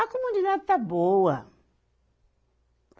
A comunidade está boa.